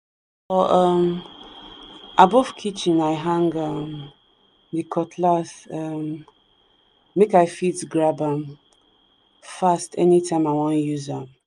for um above kitchen i hang um the cutlass um make i fit grab am fast anytime i wan use am.